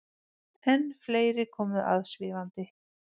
Enn fleiri komu aðvífandi.